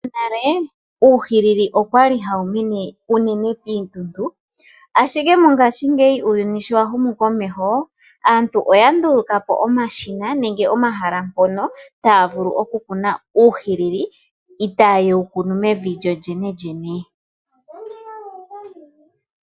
Monale uuhilili okwali hawu mene unene piituntu. Ashike mongaashingeyi uuyuni showa humu komeho aantu ndulukapo omashina nenge omahala ngono taavulu oku kuna uuhilili itaayewu kunu mevi lyo lyene lyene.